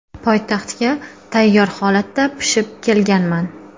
Poytaxtga tayyor holatda pishib kelganman.